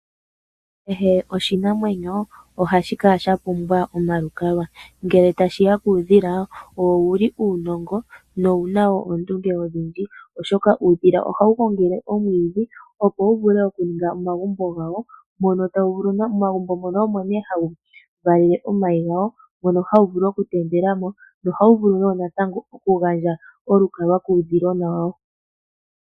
Kehe oshinamwenyo ohashi kala shapumbwa omalukalwa. Ngele tashiya kuudhila, owuli uunongo no wuna wo oondunge odhindji oshoka ohawu gongele omwiidhi opo wuvule okuninga omagumbo gawo, momagumbo mono omo nee ha wuvalele omayi gawo noha wuvulu okutendelamo, noha wuvulu wo natango okugandja olukalwa kuushilona wawo.